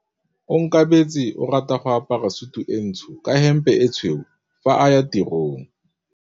Onkabetse o rata go apara sutu e ntsho ka hempe e tshweu fa a ya tirong.